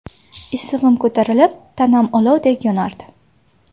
Issig‘im ko‘tarilib, tanam olovdek yonardi.